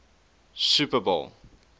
super bowl